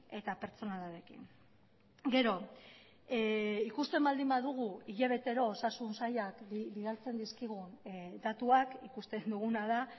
eta pertsonalarekin gero ikusten baldin badugu hilabetero osasun sailak bidaltzen dizkigun datuak ikusten duguna da